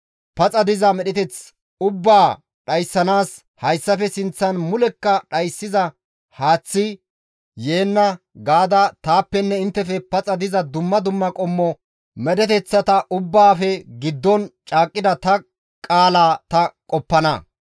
‹Paxa diza medheteth ubbaa dhayssanaas hayssafe sinththan mulekka dhayssa haaththi yeenna› gaada taappenne inttefe paxa diza dumma dumma qommo medheteththata ubbaafe giddon caaqqida ta qaalaa ta qoppana.